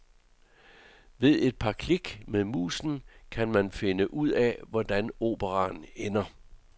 Ved et par klik med musen kan man finde ud af, hvordan operaen ender.